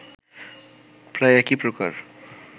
প্রায় একই প্রকার